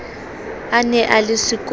a ne a le sekolong